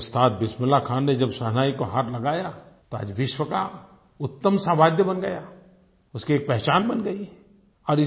लेकिन जब उस्ताद बिस्मिल्ला खां ने जब शहनाई को हाथ लगाया तो आज विश्व का उत्तम सा वाद्य बन गया उसकी एक पहचान बन गई है